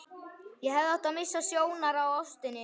Ég hefði átt að missa sjónar á ástinni.